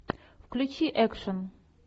включи экшен